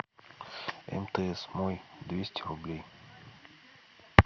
мтс мой двести рублей